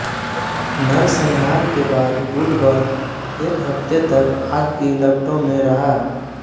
नरसंहार के बाद गुलबर्ग एक हफ्ते तक आग की लपटों में रहा